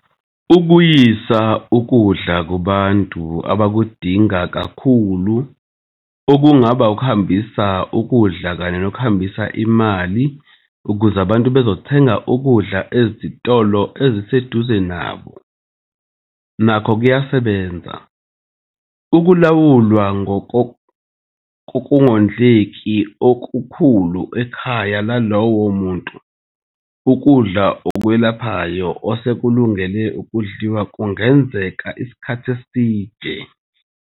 Ukuyisa ukudla kubantu abakudinga kakhulu okungaba ukuhambisa ukudla kanye nokuhambisa imali ukuze abantu bezothenga ukudla ezitolo eziseduze nabo nakho kuyasebenza. Ukulawulwa kokungondleki okukhulu ekhaya lalowo muntu ukudla okwelaphayo osekulungele ukudliwa kungenzeka isikhathi esiningi.